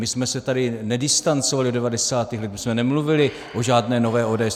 My jsme se tady nedistancovali od 90. let, my jsme nemluvili o žádné nové ODS.